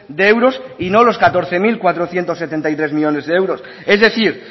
de euros y no los catorce mil cuatrocientos setenta y tres millónes de euros es decir